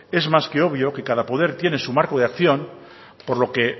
es más que obvio que cada poder tiene su marco de acción por lo que